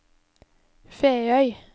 Feøy